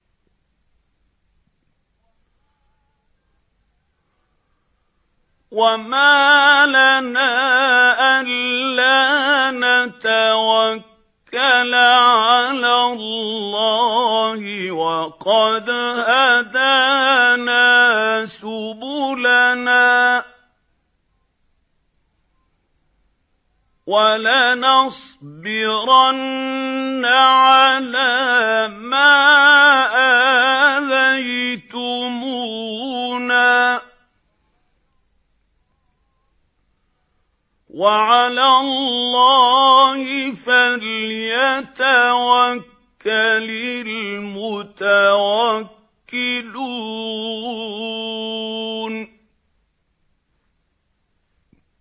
وَمَا لَنَا أَلَّا نَتَوَكَّلَ عَلَى اللَّهِ وَقَدْ هَدَانَا سُبُلَنَا ۚ وَلَنَصْبِرَنَّ عَلَىٰ مَا آذَيْتُمُونَا ۚ وَعَلَى اللَّهِ فَلْيَتَوَكَّلِ الْمُتَوَكِّلُونَ